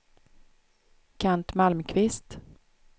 Kent Malmqvist